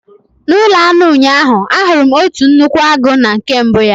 N'ụlọ anụ ụnyaahụ, ahụrụ m otu nnukwu agụ na nke mbụ ya.